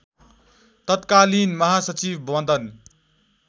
तत्कालीन महासचिव मदन